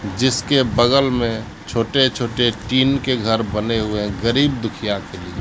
जिसके बगल में छोटे छोटे टीन के घर बन हुए हैं गरीब दुखिया के लिए।